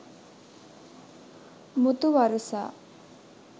muthu warusa